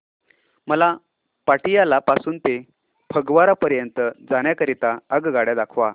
मला पटियाला पासून ते फगवारा पर्यंत जाण्या करीता आगगाड्या दाखवा